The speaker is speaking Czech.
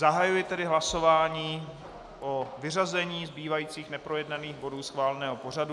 Zahajuji tedy hlasování o vyřazení zbývajících neprojednaných bodů schváleného pořadu.